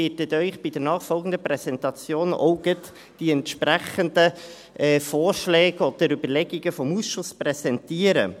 Ich werde Ihnen bei den nachfolgenden Präsentationen auch gleich die entsprechenden Vorschläge oder Überlegungen des Ausschusses präsentieren.